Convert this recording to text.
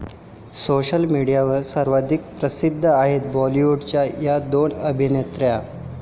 social मीडियावर सर्वाधिक प्रसिद्ध आहेत बॉलिवूडच्या 'या' दोन अभिनेत्री